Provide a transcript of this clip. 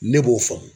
Ne b'o faamu